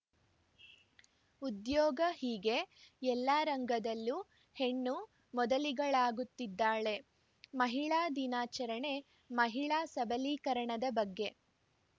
ಉದ್ಯೋಗ ಹೀಗೆ ಎಲ್ಲ ರಂಗದಲ್ಲೂ ಹೆಣ್ಣು ಮೊದಲಿಗಳಾಗುತ್ತಿದ್ದಾಳೆ ಮಹಿಳಾ ದಿನಾಚರಣೆ ಮಹಿಳಾ ಸಬಲೀಕರಣದ ಬಗ್ಗೆ